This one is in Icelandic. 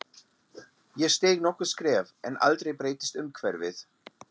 Ég steig nokkur skref en aldrei breyttist umhverfið.